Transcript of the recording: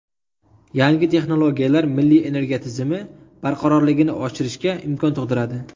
Yangi texnologiyalar milliy energiya tizimi barqarorligini oshirishga imkon tug‘diradi.